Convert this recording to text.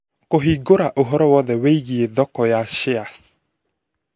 Kũhingũra ũhoro wothe wĩgiĩ thoko ya shares